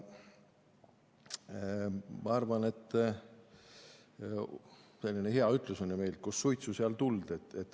Meil on selline hea ütlus, et kus suitsu, seal tuld.